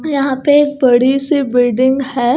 यहां पे एक बड़ी सी बिल्डिंग है।